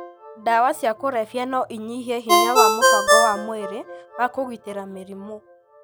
Ndawa cia kũrebia no ĩnyihie hinya wa mũbango wa mwĩrĩ wa kũgitĩra mĩrimũ,